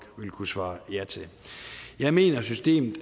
ville kunne svare ja til jeg mener at systemet